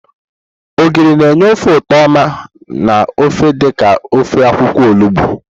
Ogiri na-enye ofe ụtọ oma na ofe dị ka ofe akwukwo olugbo.